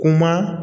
Kuma